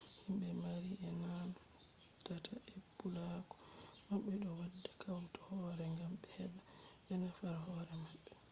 himbe maari e ko naandata e puulaaku mabbe do wadda kautal hooree gam be heba be nafa hoore mabbe